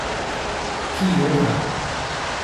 Ki joka.